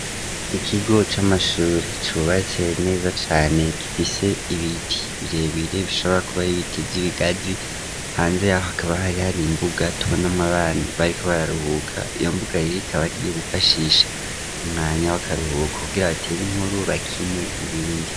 Ikigo c'amashure cubatse neza cane kifise ibiti birebere bishobora kuba ari ibiti vy'ibigazi, hanze aho akaba hari hari imbuga tubonamwo abana bariko bararuhuka iyo mbuga ikaba ariyo bifashisha umwanya w'akaruhuko kugira abateye inkuru bakine n'ibindi.